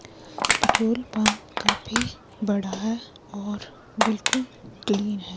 Petrol pump काफी बड़ा है और बिल्कुल चिड़िया है।